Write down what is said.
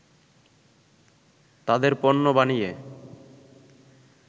তাদের পণ্য বানিয়ে